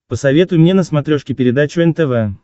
посоветуй мне на смотрешке передачу нтв